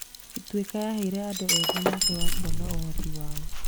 Ituĩka yaaheire andũ ethĩ mweke wa kuonania ũhoti wao.